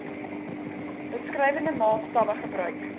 beskrywende maatstawwe gebruik